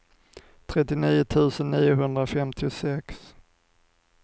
trettionio tusen niohundrafemtiosex